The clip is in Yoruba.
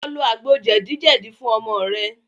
Lọ lò àgbò jedi jedi fún ọmọ rẹ